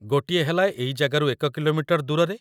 ଗୋଟିଏ ହେଲା ଏଇ ଜାଗାରୁ ୧ କି.ମି. ଦୂରରେ ।